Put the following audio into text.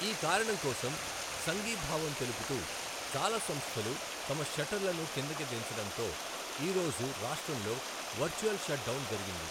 ఈ కారణం కోసం సంఘీభావం తెలుపుతూ, చాలా సంస్థలు తమ షట్టర్లను కిందికి దించడంతో, ఈ రోజు రాష్ట్రంలో వర్చువల్ షట్డౌన్ జరిగింది.